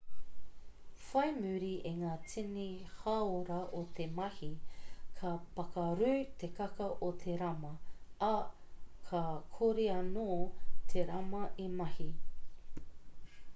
whai muri i ngā tini hāora o te mahi ka pakarū te kaka o te rama ā ka kore anō te rama e mahi